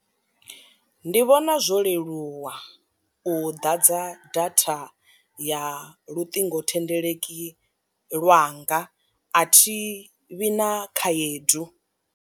Ndi vhona zwo leluwa u ḓadza datha ya luṱingothendeleki lwanga a thi vhi na khaedu.